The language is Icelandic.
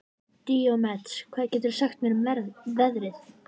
Díómedes, hvað geturðu sagt mér um veðrið?